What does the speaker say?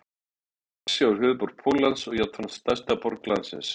Varsjá er höfuðborg Póllands og jafnframt stærsta borg landsins.